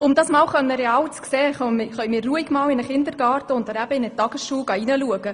Um das einmal real zu erleben, können wir ruhig einmal einen Kindergarten oder eine Tagesschule besuchen.